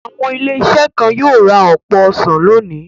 Àwọn ilé-iṣẹ́ kọ̀ọ̀kan yóò ra ọ̀pọ̀ ọsàn lónìí.